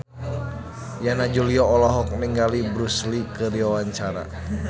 Yana Julio olohok ningali Bruce Lee keur diwawancara